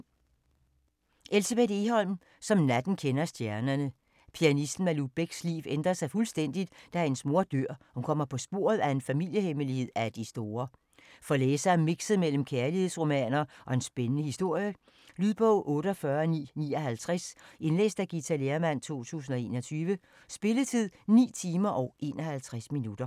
Egholm, Elsebeth: Som natten kender stjernerne Pianisten Malou Becks liv ændrer sig fuldstændigt, da hendes mor dør, og hun kommer på sporet af en familiehemmelighed af de store. For læsere af mixet mellem kærlighedsromaner og en spændende historie. Lydbog 48959 Indlæst af Githa Lehrmann, 2021. Spilletid: 9 timer, 51 minutter.